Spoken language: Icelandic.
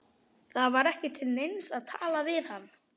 Það var ekki til neins að tala við hann.